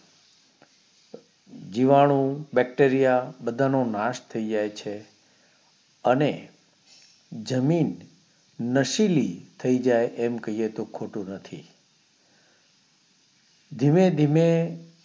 જીવાણું BACTERIA બધા નો નાશ થઇ જાય છે અને જમીન નશીલી થઈજાય આમ કહીયે તો ખોટું નથી ધીમે ધીમે